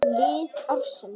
Lið ársins